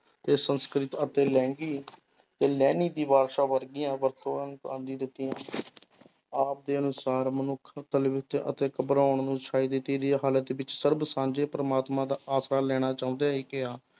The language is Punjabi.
ਤੇ ਸੰਸਕ੍ਰਿਤ ਅਤੇ ਲਹਿੰਦੀ ਤੇ ਲਹਿੰਦੀ ਦੀ ਵਰਗੀਆਂ ਦਿੱਤੀਆਂ ਆਪ ਦੇ ਅਨੁਸਾਰ ਮਨੁੱਖ ਅਤੇ ਘਬਰਾਉਣ ਹਾਲਤ ਵਿੱਚ ਸਰਬ ਸਾਂਝੇ ਪ੍ਰਮਾਤਮਾ ਦਾ ਆਸਰਾ ਲੈਣਾ ਚਾਹੁੰਦੇ